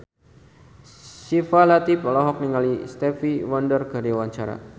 Syifa Latief olohok ningali Stevie Wonder keur diwawancara